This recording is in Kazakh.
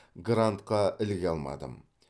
грантқа іліге алмадым